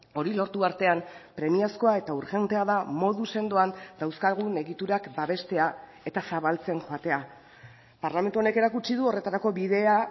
hori lortu artean premiazkoa eta urgentea da modu sendoan dauzkagun egiturak babestea eta zabaltzen joatea parlamentu honek erakutsi du horretarako bidea